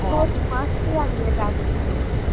মাছৰ, মাছ পুৰা দিয়ে তাত